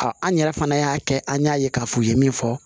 an yɛrɛ fana y'a kɛ an y'a ye k'a fɔ u ye min fɔ